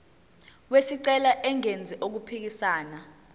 wesicelo engenzi okuphikisana